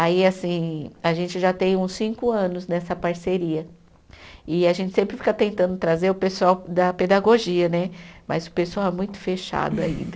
Aí assim, a gente já tem uns cinco anos nessa parceria e a gente sempre fica tentando trazer o pessoal da pedagogia né, mas o pessoal é muito fechado ainda.